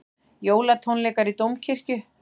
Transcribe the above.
Jólatónleikar í Dómkirkju